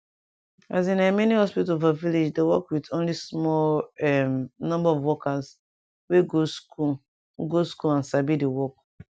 as in[um]many hospital for village dey work with only small erm number of workers wey go school go school and sabi di work